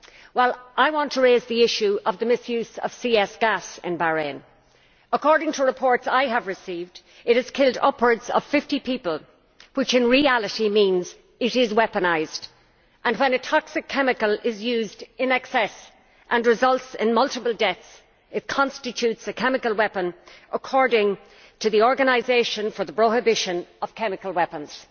Well, I want to raise the issue of the misuse of CS gas in Bahrain. According to reports I have received, it has killed upwards of 50 people, which in reality means it is weaponised, and when a toxic chemical is used in excess and results in multiple deaths it constitutes a chemical weapon, according to the Organisation for the Prohibition of Chemical Weapons.